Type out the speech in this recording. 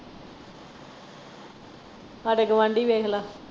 ਹਾਡੇ ਗਵਾਂਢੀ ਵੇਖਲਾ।